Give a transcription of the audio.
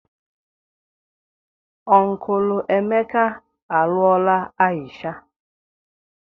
Unkulu Emeka alụọla Aisha.